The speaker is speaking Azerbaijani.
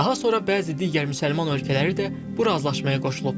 Daha sonra bəzi digər müsəlman ölkələri də bu razılaşmaya qoşulub.